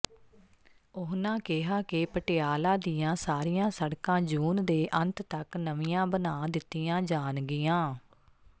ਉਨ੍ਹਾਂ ਕਿਹਾ ਕਿ ਪਟਿਆਲਾ ਦੀਆਂ ਸਾਰੀਆਂ ਸੜਕਾਂ ਜੂਨ ਦੇ ਅੰਤ ਤਕ ਨਵੀਆਂ ਬਣਾ ਦਿਤੀਆਂ ਜਾਣਗੀਆਂ